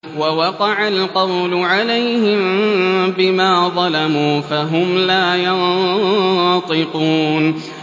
وَوَقَعَ الْقَوْلُ عَلَيْهِم بِمَا ظَلَمُوا فَهُمْ لَا يَنطِقُونَ